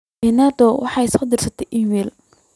jane doe waxey isoo dirtay iimayl